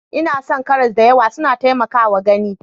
Ina son karas da yawa, suna taimakawa gani.